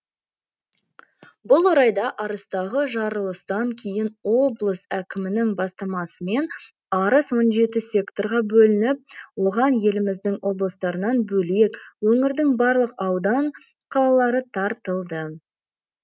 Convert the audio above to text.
бұл орайда арыстағы жарылыстан кейін облыс әкімінің бастамасымен арыс он жеті секторға бөлініп оған еліміздің облыстарынан бөлек өңірдің барлық аудан қалалары тартылды